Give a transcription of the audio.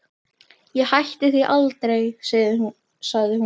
Ég hætti því aldrei, sagði hún.